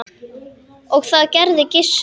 Og það gerði Gissur.